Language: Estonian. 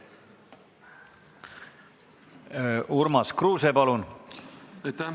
Urmas Kruuse, palun!